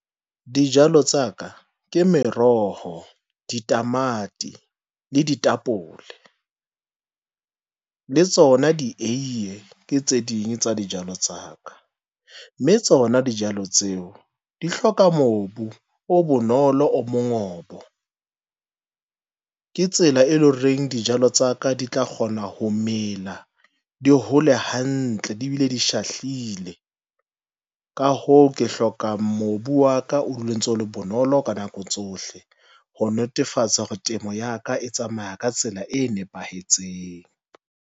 Dijalo tsa ka ke meroho, ditamati le ditapole, le tsona dieiye ke tse ding tsa dijalo tsa ka. Mme tsona dijalo tseo di hloka mobu o bonolo, o mongobo. Ke tsela e leng horeng dijalo tsa ka di tla kgona ho mela, di hole hantle, di bile di shahlile, ka hoo, ke hloka mobu wa ka o dule ntso le bonolo ka nako tsohle, ho netefatsa hore temo ya ka e tsamaya ka tsela e nepahetseng.